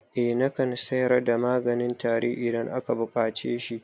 Eh nakan sayar da maganin tari idan aka buƙace shi